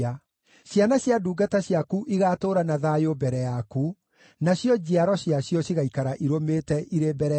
Ciana cia ndungata ciaku igaatũũra na thayũ mbere yaku; nacio njiaro ciacio cigaikara irũmĩte irĩ mbere yaku.”